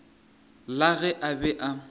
la ge a be a